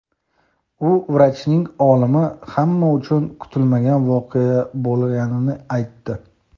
u vrachning o‘limi hamma uchun kutilmagan voqea bo‘lganini aytdi.